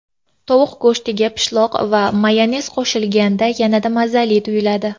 Tovuq go‘shtiga pishloq va mayonez qo‘shilganda yanada mazali tuyiladi.